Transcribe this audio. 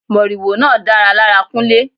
Moriwo náà dára lára Kunle.